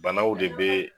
Banaw de bɛ